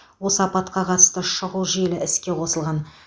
осы апатқа қатысты шұғыл желі іске қосылған